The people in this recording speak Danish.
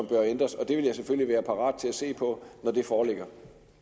bør ændres og det vil jeg selvfølgelig være parat til at se på når det foreligger